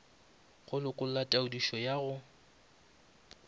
go lekola taodišo ya go